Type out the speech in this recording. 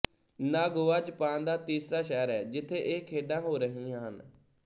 Nagoya Japan ਦਾ ਤੀਸਰਾ ਸ਼ਹਿਰ ਹੈ ਜਿੱਥੇ ਇਹ ਖੇਡਾਂ ਹੋ ਰਹੀਆਂ ਹਨ